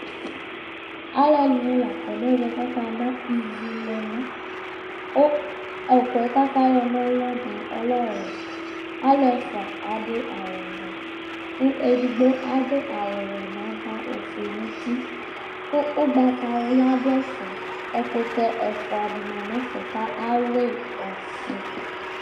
Alʋ ɛdɩnɩ la akɔ nʋ ɛvɛ kʋ aka ana ivuluna, kʋ ʋkʋɛ ayɔ kanɔlʋ yɛ mʋa ɔlɛ ɔwɛ Alu ɛfʋa adʋ awʋvɛ, kʋ edigbo adʋ awʋwɛ nʋ ava, ofue nʋ uti, kʋ ugbatawla dʋ ɛfɛ Ɛkʋtɛ ɛfʋa dɩnɩ ma nʋ ɛfɛ, kʋ ayʋɩ ɔfɩ